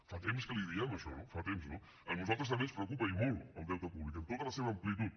fa temps que li ho diem això no fa temps no a nosaltres també ens preocupa i molt el deute públic en tota la seva amplitud